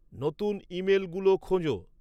নতুন ইমেলগুলো খোঁজো